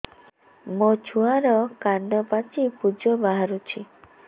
ମୋ ଛୁଆର କାନ ପାଚି ପୁଜ ବାହାରୁଛି